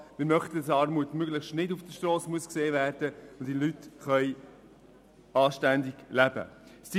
Wir möchten, dass Armut möglichst nicht auf der Strasse sichtbar werden muss und die Menschen anständig leben können.